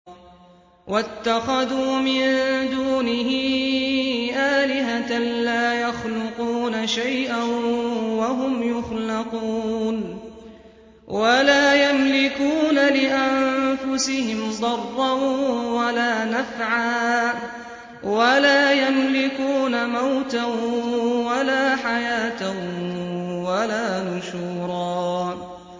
وَاتَّخَذُوا مِن دُونِهِ آلِهَةً لَّا يَخْلُقُونَ شَيْئًا وَهُمْ يُخْلَقُونَ وَلَا يَمْلِكُونَ لِأَنفُسِهِمْ ضَرًّا وَلَا نَفْعًا وَلَا يَمْلِكُونَ مَوْتًا وَلَا حَيَاةً وَلَا نُشُورًا